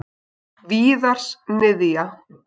Víðars niðja.